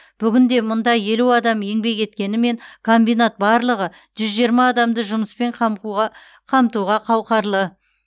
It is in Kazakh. бүгінде мұнда елу адам еңбек еткенімен комбинат барлығы жүз жиырма адамды жұмыспен қамтуға қауқарлы